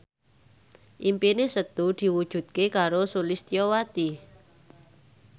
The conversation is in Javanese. impine Setu diwujudke karo Sulistyowati